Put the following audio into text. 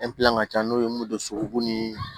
ka ca n'o ye mun de don so b'u ni